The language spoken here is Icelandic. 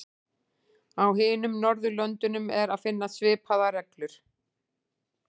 Á hinum Norðurlöndunum er að finna svipaðar reglur.